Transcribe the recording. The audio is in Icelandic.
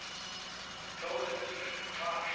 Þórhildur: Hvar?